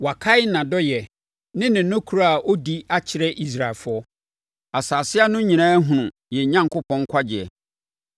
Wakae nʼadɔeɛ ne ne nokorɛ a ɔdi akyerɛ Israelfoɔ; asase ano nyinaa ahunu yɛn Onyankopɔn nkwagyeɛ.